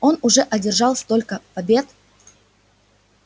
он уже одержал столько побед